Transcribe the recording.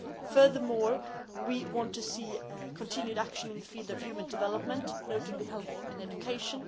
Furthermore, we want to see continued action in the field of human development, notably health and education.